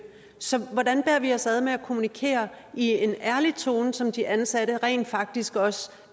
så hvordan bærer vi os ad med at kommunikere i en ærlig tone så de ansatte rent faktisk også